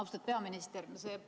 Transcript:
Austatud peaminister!